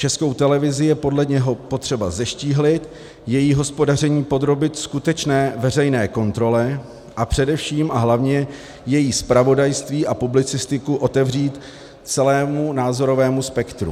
Českou televizi je podle něho potřeba zeštíhlit, její hospodaření podrobit skutečné veřejné kontrole a především a hlavně její zpravodajství a publicistiku otevřít celému názorovému spektru.